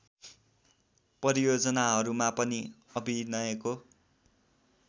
परियोजनाहरूमा पनि अभिनयको